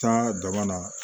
Taa dama na